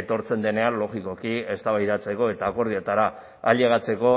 etortzen denean logikoki eztabaidatzeko eta akordioetara ailegatzeko